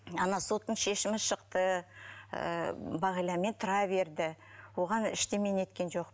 ана соттың шешімі шықты ыыы бағиламен тұра берді оған ештеме неткен жоқ